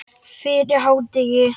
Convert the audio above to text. Fyrir hádegi.